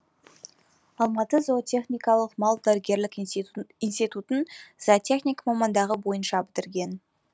алматы зоотехникалық мал дәрігерлік институтын зоотехник мамандығы бойынша бітірген